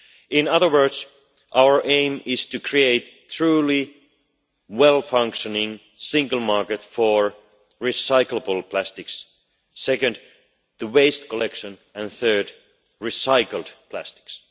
In other words, our aim is, first, to create a truly well functioning single market for recyclable plastics, second to improve waste collection and, third, promote recycled plastics.